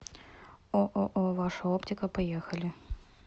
ооо ваша оптика поехали